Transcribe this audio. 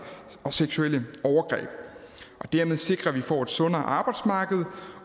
og seksuelle overgreb og dermed sikre at vi får et sundere arbejdsmarked